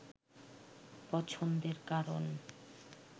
পছন্দের কারণ